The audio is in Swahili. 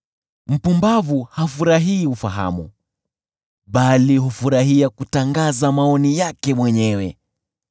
Mpumbavu hafurahii ufahamu, bali hufurahia kutangaza maoni yake mwenyewe.